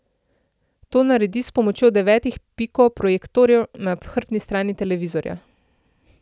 To naredi s pomočjo devetih piko projektorjev na hrbtni strani televizorja.